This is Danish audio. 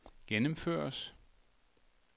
gennemføres